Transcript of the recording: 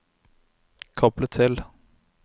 koble til